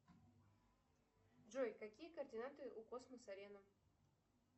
джой какие координаты у космос арена